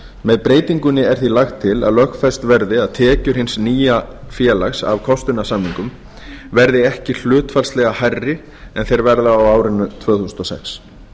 með breytingunni er því lagt til að lögfest verði að tekjur hins nýja félags af kostunarsamningum verði ekki hlutfallslega hærri en þeir verða á árinu tvö þúsund og sex